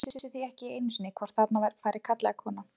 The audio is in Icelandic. Menn vissu því ekki einu sinni hvort þarna færi karl eða kona.